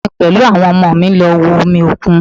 Èmi pẹ̀lú àwọn ọmọ mi lọ wo omi òkun